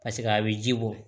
paseke a be ji bɔ